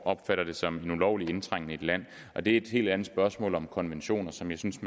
opfatter det som en ulovlig indtrængen i et land og det er et helt andet spørgsmål om konventioner som jeg synes